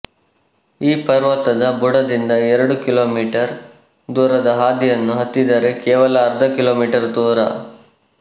ಈ ಪರ್ವತದ ಬುಡದಿಂದ ಎರಡು ಕಿಲೋಮೀಟರ್ ದೂರದ ಹಾದಿಯನ್ನು ಹತ್ತಿದರೆ ಕೇವಲ ಅರ್ಧ ಕಿಲೋಮೀಟರ್ ದೂರ